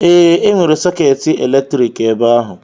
Ee, enwere sọketi eletrik ebe ahụ.